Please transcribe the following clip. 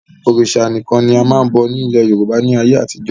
Òrìṣà nìkan ni a máa n bọ̀ ni ilẹ̀ Yorùbá ni ayé àtijọ́